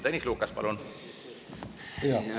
Tõnis Lukas, palun!